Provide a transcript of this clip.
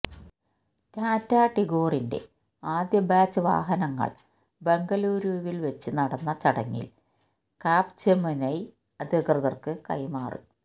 ടാറ്റാ ടിഗോറിന്റെ ആദ്യ ബാച്ച് വാഹനങ്ങൾ ബംഗലൂരുവിൽ വെച്ച് നടന്ന ചടങ്ങിൽ കാപ്ജെമിനൈ അധികൃതർക്ക് കൈമാറി